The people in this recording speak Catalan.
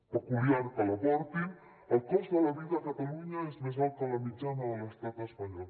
peculiar que l’aportin el cost de la vida a catalunya és més alt que la mitjana de l’estat espanyol